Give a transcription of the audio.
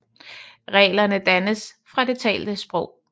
Reglerne dannes fra det talte sprog